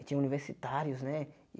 E tinha universitários, né?